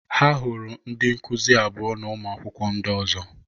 Ha hụrụ ndị nkuzi abụọ na ụmụ akwụkwọ ndị ọzọ.